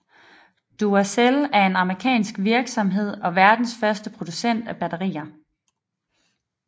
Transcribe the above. Duracell er en amerikansk virksomhed og verdens førende producent af batterier